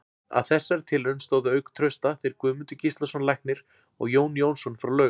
Að þessari tilraun stóðu auk Trausta þeir Guðmundur Gíslason læknir og Jón Jónsson frá Laug.